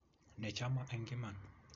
Ne chama eng' iman.